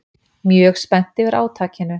Mjög spennt yfir átakinu